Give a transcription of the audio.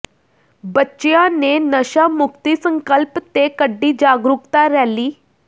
ਬੱਚਿਆਂ ਨੇ ਨਸ਼ਾ ਮੁਕਤੀ ਸੰਕਲਪ ਤੇ ਕੱਢੀ ਜਾਗਰੂਕਤਾ ਰੈਲੀ